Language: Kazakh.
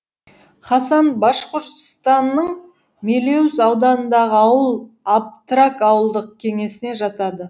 хасан башқұртстанның мелеуз ауданындағы ауыл аптрак ауылдық кеңесіне жатады